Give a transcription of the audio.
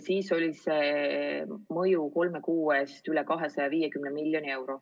Selle mõju kolme kuu peale oli veidi üle 250 miljoni euro.